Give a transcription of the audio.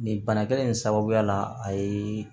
Nin bana kelen in sababuya la a ye